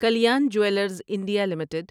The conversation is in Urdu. Kalyan jewellers India limited